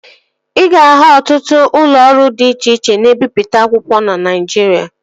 Ị ga-ahụ ọtụtụ ụlọ ọrụ dị iche iche na-ebipụta akwụkwọ na Naijiria